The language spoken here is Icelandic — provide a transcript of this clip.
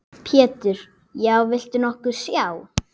Pétur: Já, viltu nokkuð sjá?